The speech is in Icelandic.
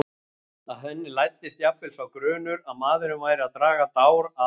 Að henni læddist jafnvel sá grunur að maðurinn væri að draga dár að henni.